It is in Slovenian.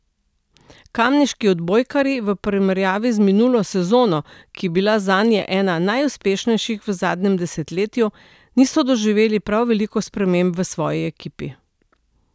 Kamniški odbojkarji v primerjavi z minulo sezono, ki je bila zanje ena najuspešnejših v zadnjem desetletju, niso doživeli prav veliko sprememb v svoji ekipi.